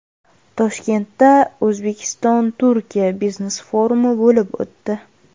Toshkentda O‘zbekistonTurkiya biznes-forumi bo‘lib o‘tdi.